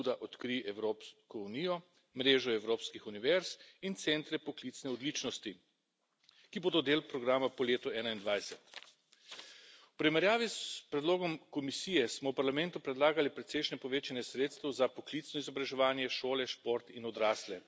pobuda Odkrij Evropsko unijo, Mreža evropskih univerz in Centri poklicne odličnosti, ki bodo del programa po letu 2021. V primerjavi s predlogom Komisije smo v Parlamentu predlagali precejšnje povečanje sredstev za poklicno izobraževanje, šole, šport in odrasle.